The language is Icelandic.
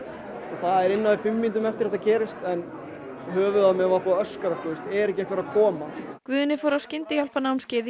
það var innan við fimm mínútum eftir að þetta gerðist en höfuðið á mér var búið að öskra sko er ekki einhver að koma Guðni fór á skyndihjálparnámskeið í